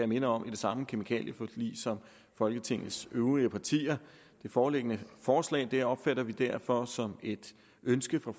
minde om i det samme kemikalieforlig som folketingets øvrige partier det foreliggende forslag opfatter vi derfor som et ønske fra